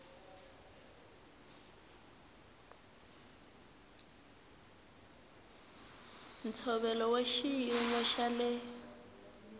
ntshovelo wa xiyimo xa le